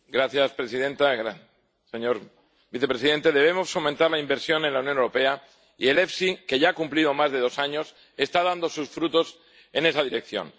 Señora presidenta, señor vicepresidente, debemos fomentar la inversión en la Unión Europea, y el FEIE, que ya ha cumplido más de dos años, está dando sus frutos en esa dirección.